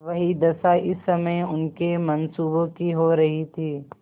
वही दशा इस समय उनके मनसूबों की हो रही थी